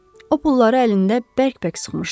O pulları əlində bərk-bərk sıxmışdı.